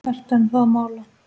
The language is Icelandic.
Ertu enn að mála?